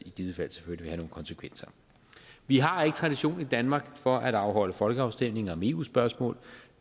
i givet fald selvfølgelig vil konsekvenser vi har ikke tradition i danmark for at afholde folkeafstemninger om eu spørgsmål